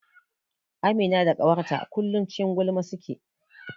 Amina da ƙawarta kullum a cikin gulma suke.